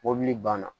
Mobili banna